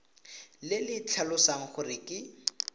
le le tlhalosang gore ke